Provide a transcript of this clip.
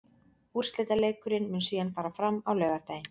Úrslitaleikurinn mun síðan fara fram á laugardaginn.